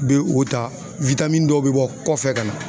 Be o ta dɔw be bɔ kɔfɛ ka na.